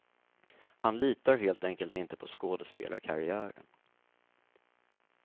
Han litar helt enkelt inte på skådespelarkarriären.